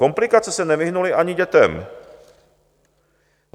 Komplikace se nevyhnuly ani dětem.